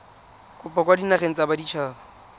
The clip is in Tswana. kopo kwa dinageng tsa baditshaba